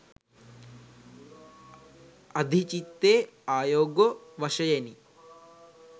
අධිචිත්තේ ආයොගො වශයෙනි.